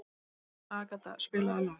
Agata, spilaðu lag.